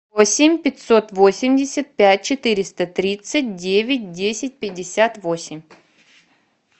восемь пятьсот восемьдесят пять четыреста тридцать девять десять пятьдесят восемь